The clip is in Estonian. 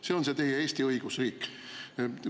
See on teie Eesti õigusriik!